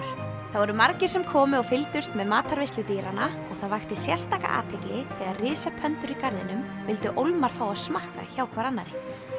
það voru margir sem komu og fylgdust með matarveislu dýranna og það vakti sérstaka athygli þegar í garðinum vildu ólmar fá að smakka hjá hvor annarri